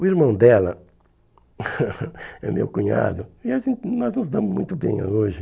O irmão dela é meu cunhado e a gente nós nos damos muito bem hoje.